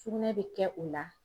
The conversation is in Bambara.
Sugunɛ be kɛ o la